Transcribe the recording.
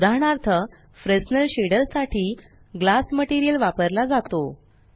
उदाहरणार्थ Fresnel shader साठी glass material वापरला जातो